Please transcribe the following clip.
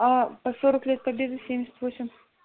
а по сорок лет победы семьдесят восемь